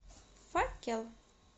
факел